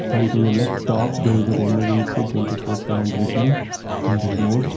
and to the left top there is a emergency twenty four seven written on the board.